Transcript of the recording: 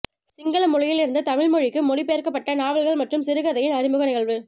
சிங்கள மொழியில் இருந்து தமிழ் மொழிக்கு மொழி பெயர்க்கப்பட்ட நாவல்கள் மற்றும் சிறுகதையின் அறிமுக நிகழ்வு